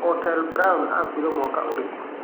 Otile brown akuĩre mwaka ũrikũ?